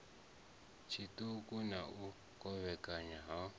tshiṱuku na u kovhekana ha